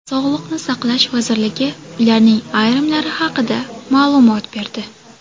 Sog‘liqni saqlash vazirligi ularning ayrimlari haqida ma’lumot berdi .